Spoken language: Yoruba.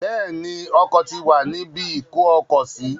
Bẹ́ẹ̀ ni, Ọkọ̀ ti wà ní ibi ìkó-ọkọ̀-sí.